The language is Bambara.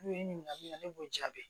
ɲininkali ne b'o jaabi